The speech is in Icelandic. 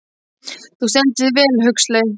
Þú stendur þig vel, Huxley!